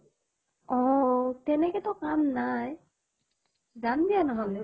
আহ তেনেকেতো কাম নাই , যাম দিয়া নহলে।